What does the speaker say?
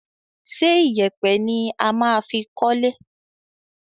Ṣé ìyẹ̀pẹ̀ ni a máa fi kọ́lé?